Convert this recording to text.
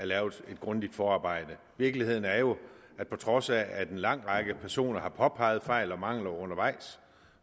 lavet et grundigt forarbejde virkeligheden er jo at på trods af at en lang række personer har påpeget fejl og mangler undervejs